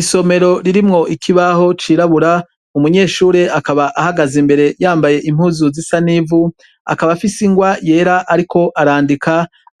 Isomero ririmwo ikibaho cirabura, umunyeshure akaba ahagaze imbere yambaye impuzu zisa n’ivu, akaba afise ingwa yera ariko arandika,